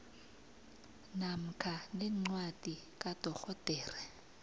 namkha nencwadi kadorhodera